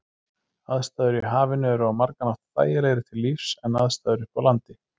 Aðstæður í hafinu eru á margan hátt þægilegri til lífs en aðstæður uppi á landi.